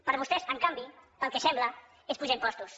per vostès en canvi pel que sembla és pujar impostos